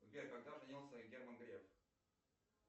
сбер когда женился герман греф